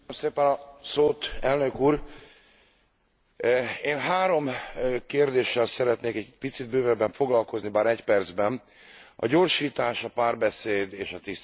Elnök úr, én három kérdéssel szeretnék egy picit bővebben foglalkozni, bár egy percben a gyorsítás, a párbeszéd és a tisztaság kérdésével.